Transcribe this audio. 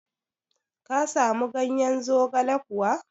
Ka samu ganyen zogale kuwa?